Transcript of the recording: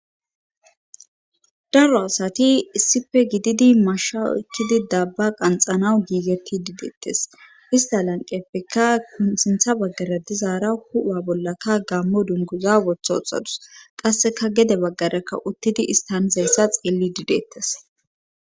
daro asati issife gididi masha okkidi dabba qanxanawu giigetti dideettes ista lanqeppekka ksintha baggara dizaara hu7a bollaka gammo dunguza wotho oxadus qasseka gede baggarakka uttidi istanizayssa xeelli didettes